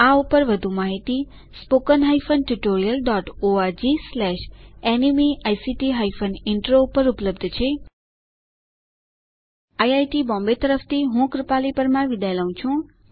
આ મિશન પર વધુ જાણકારી આ લિંક પર ઉપલબ્ધ છે httpspoken tutorialorgNMEICT Intro IIT Bombay તરફ થી હું કૃપાલી પરમાર વિદાય લઉં છું